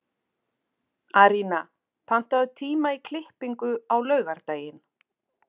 Arína, pantaðu tíma í klippingu á laugardaginn.